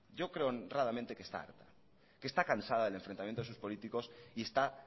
yo creo honradamente que está harta que está cansada del enfrentamiento de sus políticos y está